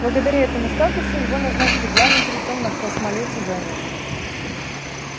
благодаря этому статусу его назначили главным жрецом на космолёте венус